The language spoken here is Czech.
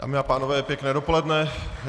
Dámy a pánové, pěkné dopoledne.